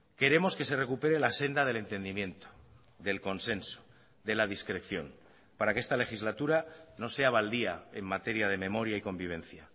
queremos que se recupere la senda del entendimiento del consenso de la discreción para que esta legislatura no sea baldía en materia de memoria y convivencia